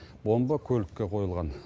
бомба көлікке қойылған